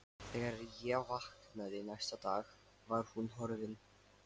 Þegar ég vaknaði næsta dag var hún horfin.